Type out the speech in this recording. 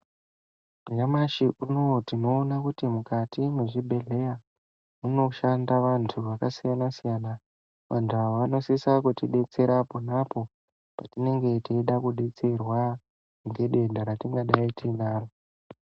Nyamashi unouyu tinoona kuti mukati mezvibhedhlera munoshanda vantu vakasiyana-siyana. Vantu ava vanosisa kutidetsera apo neapo petinenge teide kudetserwa ngedenda ratingadai tiinaro.